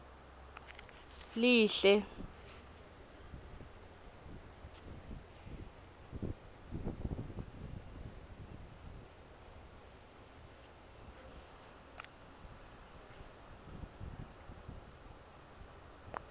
lihle